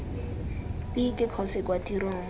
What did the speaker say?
ii ke kgosi kwa tirong